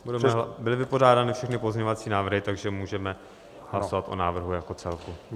Byly vypořádány všechny pozměňovací návrhy, takže můžeme hlasovat o návrhu jako celku.